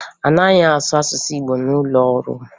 A naghị asụ asụsụ Igbo n'ụlọ ọrụ m